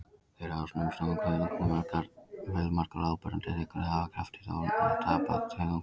Þeir hafa umsnúinn kuðung en fjölmargar áberandi tegundir hafa í krafti þróunar tapað kuðungnum.